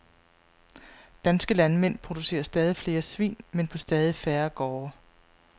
Danske landmænd producerer stadig flere svin, men på stadig færre gårde.